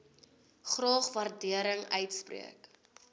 graag waardering uitspreek